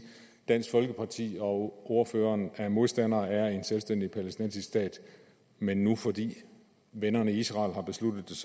dansk folkeparti og ordføreren er modstandere af en selvstændig palæstinensisk stat men men fordi vennerne i israel har besluttet